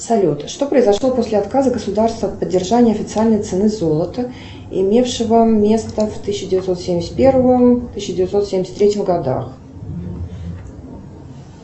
салют что произошло после отказа государства от поддержания официальной цены золота имевшего место в тысяча девятьсот семьдесят первом тысяча девятьсот семьдесят третьем годах